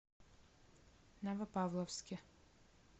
новопавловске